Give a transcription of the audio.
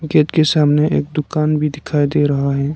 Gate सामने एक दुकान भी दिखाई दे रहा है।